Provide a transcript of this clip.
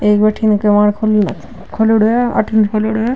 एक बठीने किवाड़ खोल खोल्योड़ो है अठीने खोल्योड़ो है।